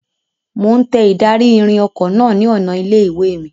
Mo ń tẹ ìdarí-ìrìn ọkọ náà ni ọ̀nà ilé-ìwé mi.